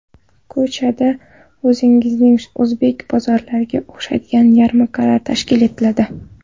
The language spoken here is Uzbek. Ko‘chalarda o‘zimizning o‘zbek bozorlariga o‘xshagan yarmarkalar tashkil etiladi.